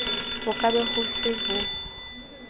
ho ka be ho se